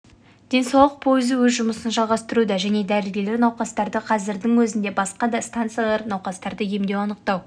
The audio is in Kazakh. денсаулық пойызы өз жұмысын жалғастыруда және дәрігерлер науқастарды қәзірдің өзінде басқа да станциялар науқастарды емдеу анықтау